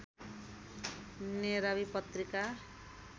नेरावि पत्रिका